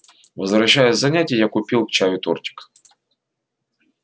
возвращаясь с занятий я купил к чаю тортик